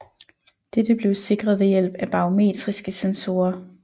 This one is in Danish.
Dette blev sikret ved hjælp af barometriske sensorer